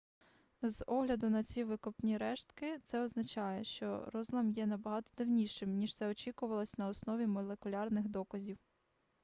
з огляду на ці викопні рештки це означає що розлам є набагато давнішим ніж це очікувалось на основі молекулярних доказів